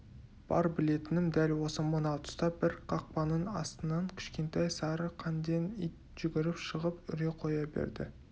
бар білетінім дәл осы мына тұста бір қақпаның астынан кішкентай сары қанден ит жүгіріп шығып үре қоя береді